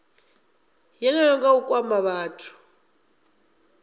yeneyo nga u kwama vhathu